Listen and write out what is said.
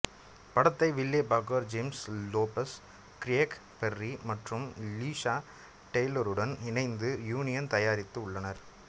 படத்தை Will Packer James Lopez Craig Perry மற்றும் Sheila டெய்லருடன் இணைந்து யூனியன் தயாரித்து உள்ளனர்